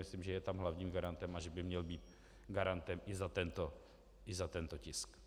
Myslím, že je tam hlavním garantem a že by měl být garantem i za tento tisk.